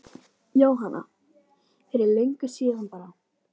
Jóhanna: Fyrir löngu síðan bara?